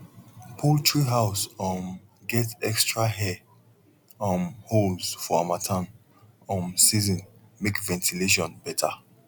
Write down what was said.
poultry house um get extra air um holes for harmattan um season make ventilation better